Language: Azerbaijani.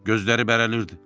Gözləri bərəlirdi.